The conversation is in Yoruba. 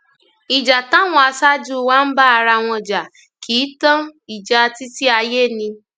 ìjà táwọn aṣáájú wa ń bá ara wọn jà kì í í tán ìjàá títí ayé ni